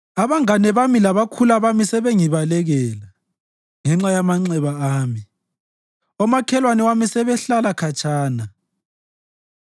Abangane bami labakhula bami sebengibalekela ngenxa yamanxeba ami; omakhelwane bami sebehlalela khatshana